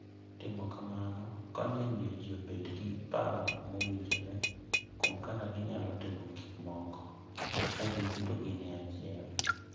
Timo kamano konyo e miyo ji obed gi paro mowinjore kuom kaka ginyalo timo gik moko ka giduto gin e achiel.